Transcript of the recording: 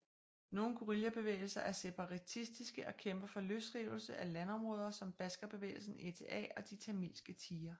Nogle guerillabevægelser er separatistiske og kæmper for løsrivelse af landområder som Baskerbevægelsen ETA og De Tamilske Tigre